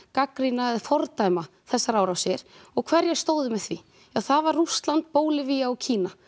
gagnrýna eða fordæma þessar árásir og hverjir stóðu með því ja það var Rússland Bólivía og Kína